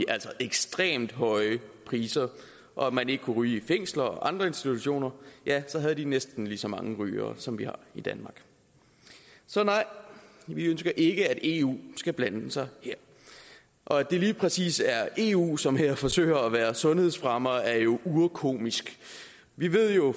altså ekstremt høje og man ikke kunne ryge i fængsler og andre institutioner så havde de næsten lige så mange rygere som vi har i danmark så nej vi ønsker ikke at eu skal blande sig her og at det lige præcis er eu som her forsøger at være sundhedsfremmere er jo urkomisk vi ved jo